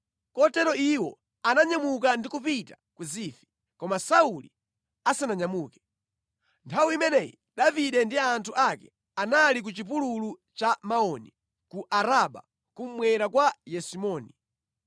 Kotero iwo ananyamuka ndi kupita ku Zifi, koma Sauli asananyamuke. Nthawi imeneyi Davide ndi anthu ake anali ku chipululu cha Maoni, ku Araba kummwera kwa Yesimoni.